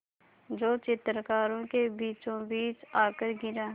जो चित्रकारों के बीचोंबीच आकर गिरा